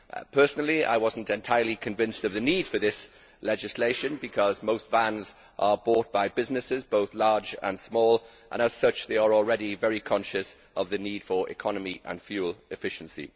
Personally, I was not entirely convinced of the need for this legislation because most vans are bought by businesses, both large and small, which are already very conscious of the need for economy and fuel efficiency.